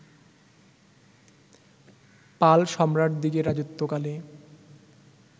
পাল সম্রাটদিগের রাজত্বকালে